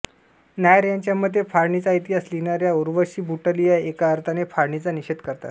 नायर यांच्या मते फाळणीचा इतिहास लिहिणाऱ्या उर्वशी बुटालिया एका अर्थाने फाळणीचा निषेध करतात